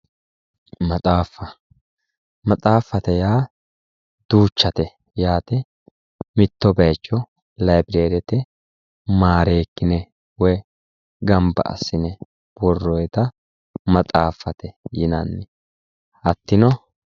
Maxaafa, maxaafate yaa duuchate yaate mitto bayicho libirerete marekkine woyi gamba assine worronitta maxaafate yinnanni hatino